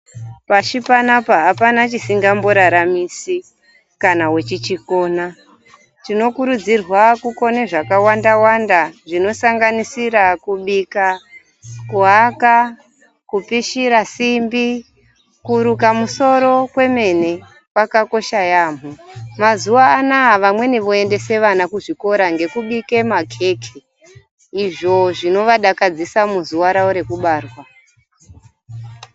Pashi panapa apana chisingararamisi kana wechichikona. Tinokurudzirwa kukona zvakawanda wanda zvinosanganisira kubika, kuaka, kupishira simbi, nekuruka musoro kwemene kwakakosha yaamho. Mazuwa anaa vamweni vekuendesa vana vavo kuzvikora kubudikidza ngekubika makeke izvo zvinovadakadzisa muzuva ravo rekubarwa.